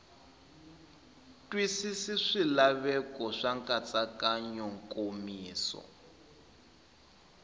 twisisi swilaveko swa nkatsakanyo nkomiso